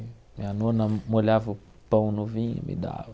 Minha nona molhava o pão no vinho e me dava.